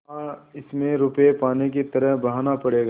हाँ इसमें रुपये पानी की तरह बहाना पड़ेगा